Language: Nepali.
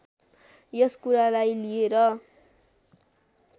यस कुरालाई लिएर